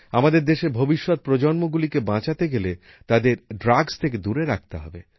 আমাদের দেশের ভবিষ্যৎ প্রজন্মগুলিকে বাঁচাতে গেলে তাদের ড্রাগস থেকে দূরে রাখতে হবে